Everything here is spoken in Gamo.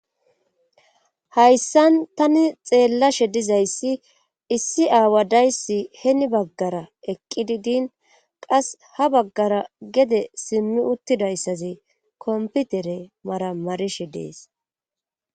hayssan tani xeellashe dizayssi issi aawa dayssi heni baggara eqqidi din qas ha baggara gede simmi uttidayssazi komputere maramarishe dees